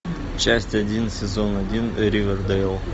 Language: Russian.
часть один сезон один ривердейл